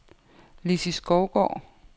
Lissi Skovgaard